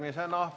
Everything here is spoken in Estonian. Aitäh!